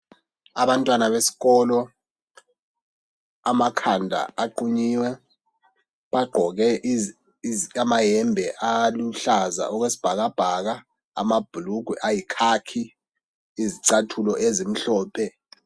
Abantwana besikolo, amakhanda aqhunyiwe. Bagqoke amayembe aluhlaza okwesibhakabhaka amabhulugwe ayikhakhi izicathulo elimhlophe.